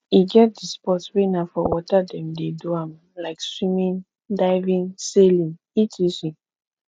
e get di sport wey na for water dem de do am like swimming diving sailing etc